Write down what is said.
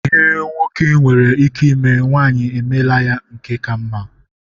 Ihe nwoke nwere ike ime, nwanyị emeela ya nke ka mma.